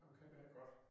Ham kender jeg godt